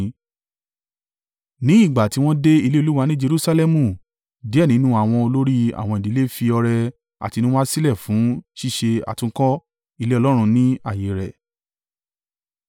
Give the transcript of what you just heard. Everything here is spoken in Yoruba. Ní ìgbà tí wọ́n dé ilé Olúwa ní Jerusalẹmu, díẹ̀ nínú àwọn olórí àwọn ìdílé fi ọrẹ àtinúwá sílẹ̀ fún ṣíṣe àtúnkọ́ ilé Ọlọ́run ní ààyè rẹ̀.